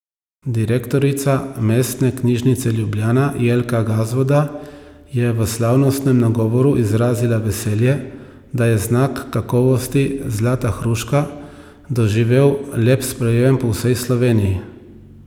Direktorica Mestne knjižnice Ljubljana Jelka Gazvoda je v slavnostnem nagovoru izrazila veselje, da je znak kakovosti zlata hruška doživel lep sprejem po vsej Sloveniji.